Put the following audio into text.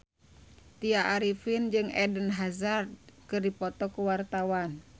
Tya Arifin jeung Eden Hazard keur dipoto ku wartawan